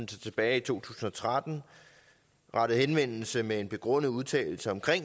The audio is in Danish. tilbage i to tusind og tretten rettede henvendelse med en begrundet udtalelse om